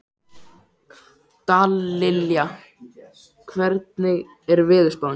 Dallilja, hvernig er veðurspáin?